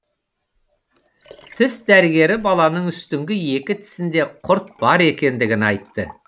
тіс дәрігері баланың үстіңгі екі тісінде құрт бар екендігін айтты